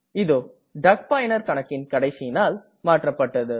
இதோ டக் பயனர் கணக்கின் கடைசி நாள் மாற்றப்பட்டது